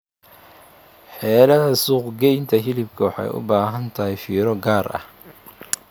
Xeeladda suuq-geynta hilibka waxay u baahan tahay fiiro gaar ah.